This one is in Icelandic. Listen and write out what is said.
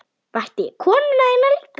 Vakti ég konu þína líka?